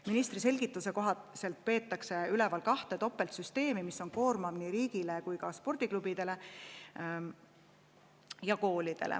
Ministri selgituse kohaselt peetakse üleval topeltsüsteeme, mis on koormav nii riigile kui ka spordiklubidele ja -koolidele.